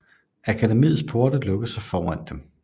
Akademiets porte lukkede sig for dem